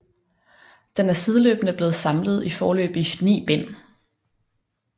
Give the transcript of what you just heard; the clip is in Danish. Den er sideløbende blevet samlet i foreløbig 9 bind